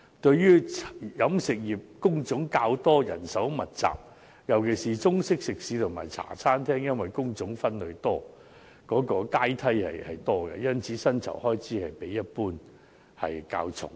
由於飲食業工種較多及人手密集，尤其是中式食肆及茶餐廳因工種分類和階梯較多，故薪酬開支比例一般較重。